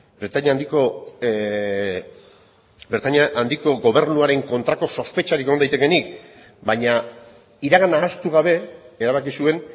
britainia handiko gobernuaren kontrako sospetxarik egon daitekeenik baina iragana ahaztu gabe erabaki zuen